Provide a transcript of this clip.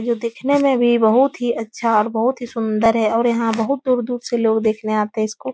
जो दिखने में भी बहुत ही अच्छा और बहुत ही सुन्दर है और यहाँ बहुत दूर दूर से लोग देखने आते हैं इसको --